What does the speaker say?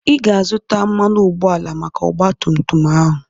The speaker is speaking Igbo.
Ị ga-azụta mmanụ ụgbọala maka ọgba tum tum ahụ.